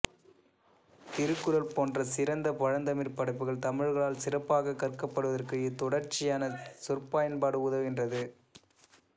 திருக்குறள் போன்ற சிறந்த பழந்தமிழ் படைப்புகள் தமிழர்களால் சிறப்பாகக் கற்கப்படுவதற்கு இத்தொடர்ச்சியான சொற்பயன்பாடு உதவுகின்றது